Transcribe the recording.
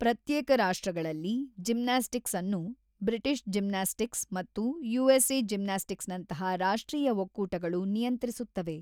ಪ್ರತ್ಯೇಕ ರಾಷ್ಟ್ರಗಳಲ್ಲಿ, ಜಿಮ್ನಾಸ್ಟಿಕ್ಸ್ ಅನ್ನು ಬ್ರಿಟಿಷ್ ಜಿಮ್ನಾಸ್ಟಿಕ್ಸ್ ಮತ್ತು ಯುಎಸ್ಎ ಜಿಮ್ನಾಸ್ಟಿಕ್ಸ್‌ನಂತಹ ರಾಷ್ಟ್ರೀಯ ಒಕ್ಕೂಟಗಳು ನಿಯಂತ್ರಿಸುತ್ತವೆ.